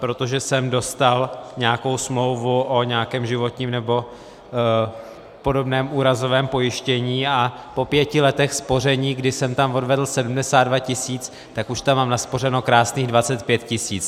Protože jsem dostal nějakou smlouvu o nějakém životním nebo podobném úrazovém pojištění a po pěti letech spoření, kdy jsem tam odvedl 72 tisíc, tak už tam mám naspořeno krásných 25 tisíc.